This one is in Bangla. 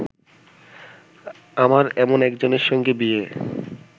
আমার এমন একজনের সঙ্গে বিয়ে